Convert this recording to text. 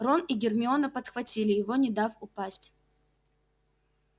рон и гермиона подхватили его не дав упасть